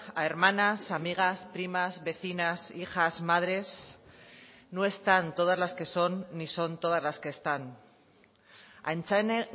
a hermanas amigas primas vecinas hijas madres no están todas las que son ni son todas las que están aintzane